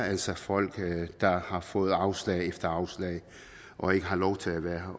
altså er folk der har fået afslag efter afslag og ikke har lov til at være